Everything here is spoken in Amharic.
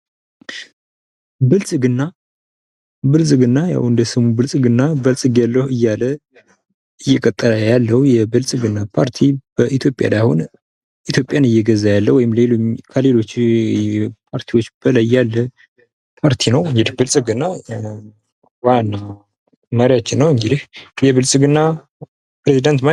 ብልፅግና ያው እንደስሙ በልፅጊያለው እያለ እየቀጠለ ያለው የብልፅግና ፓርቲ በኢትዮጵያ ላይ አሁን ኢትዮጵያን እየገዛ ያለው ወይም ከሌሎች ፓርቲዎች በላይ ያለ ፓርቲ ነው። እንግዲህ ብልፅግና ዋናው መሪያችን ነው። እንግዲህ የብልፅግና ፕሬዝደንት ማን ይባላል?